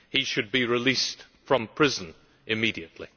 He should be released from prison immediately.